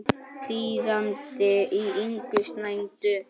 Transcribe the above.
Þýðandi er Ingunn Snædal.